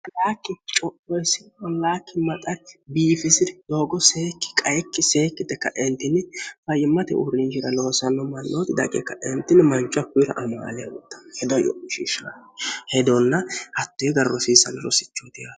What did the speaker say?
hlaakki co'isi ollaakki maxari biifisi'ri doogo seekki qaikki seekkite kaeentinni fayyimmate uurrinjhira loosanno mannooti daqe ka'eentinni mancho akkuyira amoalehuttahh hedonna hattoe gar rosiissanni rosichohuti he